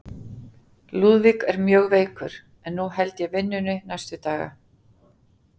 Lúðvík er mjög veikur, en nú held ég vinnunni næstu daga.